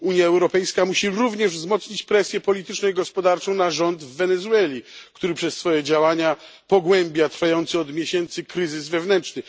Unia Europejska musi również wzmocnić presję polityczną i gospodarczą na rząd w Wenezueli, który przez swoje działania pogłębia trwający od miesięcy kryzys wewnętrzny.